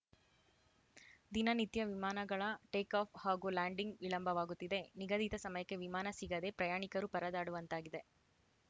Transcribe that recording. ದಿನ ನಿತ್ಯ ವಿಮಾನಗಳ ಟೇಕಾಫ್‌ ಹಾಗೂ ಲ್ಯಾಂಡಿಂಗ್‌ ವಿಳಂಬವಾಗುತ್ತಿದೆ ನಿಗದಿತ ಸಮಯಕ್ಕೆ ವಿಮಾನ ಸಿಗದೆ ಪ್ರಯಾಣಿಕರು ಪರದಾಡುವಂತಾಗಿದೆ